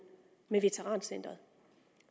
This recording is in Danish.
med veterancenteret